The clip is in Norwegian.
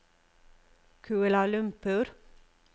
Kuala Lumpur